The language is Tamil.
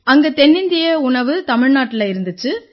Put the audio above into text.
அங்க தென்னிந்திய உணவு தமிழ்நாட்டுல இருந்திச்சு